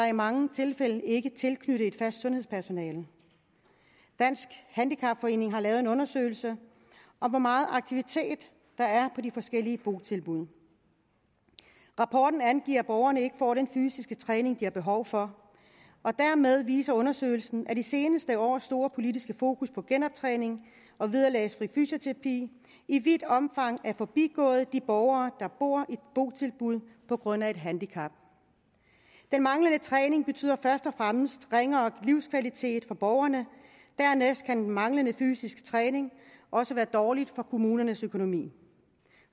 i mange tilfælde ikke tilknyttet et fast sundhedspersonale dansk handicapforening har lavet en undersøgelse af hvor meget aktivitet der er på de forskellige botilbud rapporten angiver at borgerne ikke får den fysiske træning de har behov for og dermed viser undersøgelsen at de seneste års store politiske fokus på genoptræning og vederlagsfri fysioterapi i vidt omfang er forbigået de borgere der bor i botilbud på grund af et handicap den manglende træning betyder først og fremmest ringere livskvalitet for borgerne dernæst kan den manglende fysiske træning også være dårlig for kommunernes økonomi